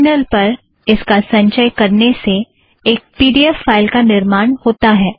terminal पर इसका संचय करने से एक पी ड़ी ऐफ़ फ़ाइल का निर्माण होता है